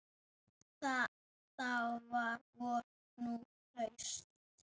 Þá var vor, nú haust.